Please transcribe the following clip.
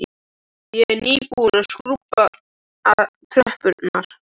Ég er nýbúin að skrúbba tröppurnar.